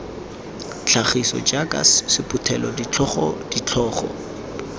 tlhagiso jaaka sephuthelo setlhogo ditlhogo